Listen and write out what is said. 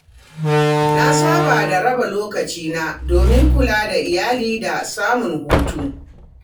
Na saba da raba lokacina domin kula da iyali da samun hutu.